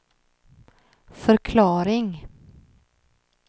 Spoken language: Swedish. förklaring